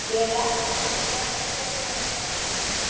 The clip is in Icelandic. Ég veit ekkert hvað hann hefur ætlað að gera við hann um páskana.